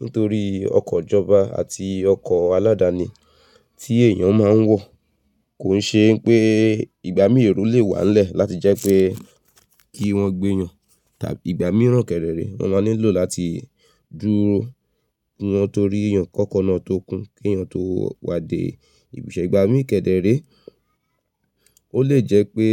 nítorí ọkọ̀ ijọ́ba àti ọkọ̀ aládàáni tí èèyàn máa ń wọ̀ kò n ṣe n pé ìgbà míì èrò lè wà n lẹ́ẹ̀ láti jẹ́ pé kí wọ́n gbé eeyàn ìgbà míìrán kẹrẹrẹ wọ́n máa nílò láti dúró ki wọn to rí èèyàn kọ́kọ́ náà tó kún kí èèyàn tó wá dé ibi iṣẹ́. Ìgbà míì kẹdẹrẹ, ó lè jẹ́ pé